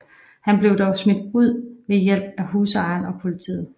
Han blev dog smidt ud ved hjælp af husejeren og politiet